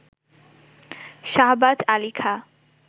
Shahbaz Ali Khan